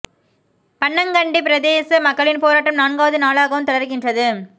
பன்னங்கண்டி பிரதேச மக்களின் போராட்டம் நான்காவது நாளாகவும் தொடர்கின்றது